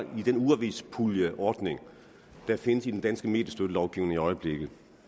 i den ugeavispuljeordning der findes i den danske mediestøttelovgivning i øjeblikket